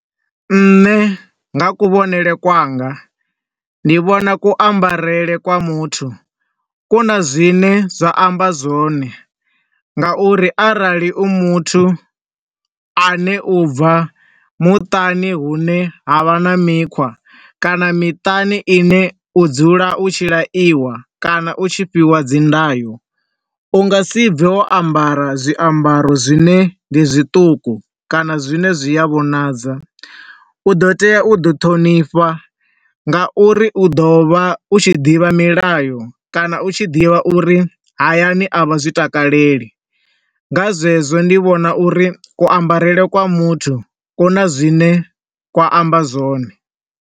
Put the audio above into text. Nṋe nga ku vhonele kwanga, ndi vhona ku ambarele kwa muthu, ku na zwine zwa amba zwone, nga uri arali u muthu a ne u bva muṱani hune ha vha na mikhwa kana miṱani ine u dzula u tshi laiwa kana u tshi fhiwa dzi ndayo. U nga si bve wo ambara zwiambaro zwine ndi zwiṱuku kana zwine zwi a vhonadza. U ḓo tea u ḓi ṱhonifha nga uri u ḓo vha u tshi ḓivha milayo kana u tshi ḓivha uri hayani a vha zwi takaleli. Nga zwezwo ndi vhona uri ku ambarele kwa muthu ku na zwine kwa amba zwone.